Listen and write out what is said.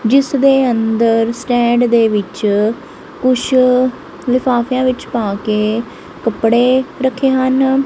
ਜਿਸ ਦੇ ਅੰਦਰ ਸਟੈਂਡ ਦੇ ਵਿੱਚ ਕੁਛ ਲਿਫਾਫਿਆਂ ਵਿੱਚ ਪਾ ਕੇ ਕੱਪੜੇ ਰੱਖੇ ਹਨ।